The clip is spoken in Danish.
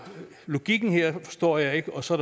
logikken her forstår jeg ikke og så